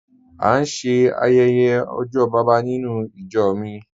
A n ṣẹ ayẹyẹ ojó baba nínú ìjọ́ mi